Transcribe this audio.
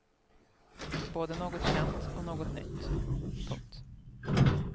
Både något känt och något nytt. punkt